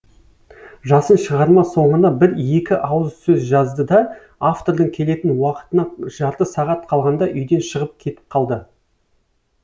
жасын шығарма соңына бір екі ауыз сөз жазды да автордың келетін уақытына жарты сағат қалғанда үйден шығып кетіп қалды